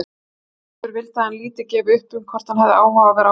Aðspurður vildi hann lítið gefa upp um hvort hann hefði áhuga á að vera áfram.